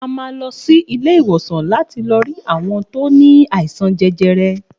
A má lọsí ilé ìwòsàn láti lọ rí àwọn ti o ní àìsàn jẹjẹrẹ